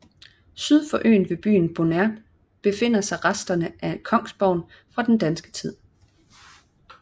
Syd for øen ved byen Bonert befinder sig resterne af kongsborgen fra den danske tid